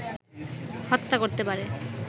হত্যা করতে পারে